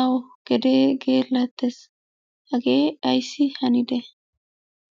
awu gedee geellattes. Hagee ayssi hanide?